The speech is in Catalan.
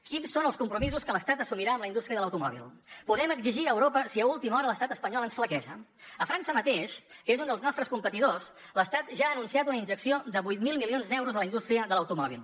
quins són els compromisos que l’estat assumirà amb la indústria de l’automòbil podrem exigir a europa si a última hora a l’estat espanyol ens flaqueja a frança mateix que és un dels nostres competidors l’estat ja ha anunciat una injecció de vuit mil milions d’euros a la indústria de l’automòbil